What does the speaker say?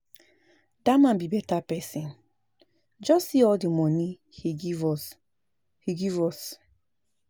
Dat man be beta person, just see all the money he give us he give us